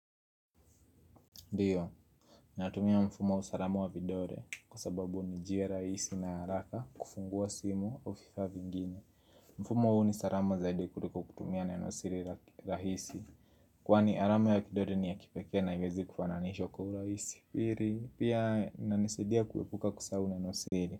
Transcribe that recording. Ndiyo, natumia mfumo wa usarama wa vidore kwa sababu nijia raisi na haraka kufungua simu o vifaa vingine. Mfumo huu ni sarama zaidi kuliko kutumia nenosiri rahisi. Kwani arama ya kidore ni ya kipeke na uwezi kufananishwa kwa uraisi. Piri, pia inanisaidia kuwepuka kusahau nenosiri.